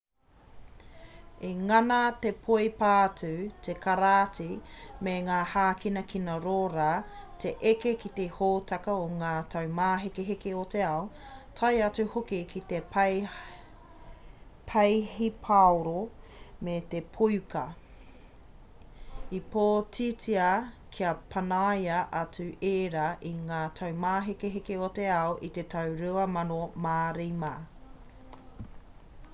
i ngana te poipātū te karāti me ngā hākinakina rōra te eke ki te hōtaka o ngā taumāhekeheke o te ao tae atu hoki ki te peihipaoro me te poiuka i pōtitia kia panaia atu ērā i ngā taumāhekeheke o te ao i te tau 2005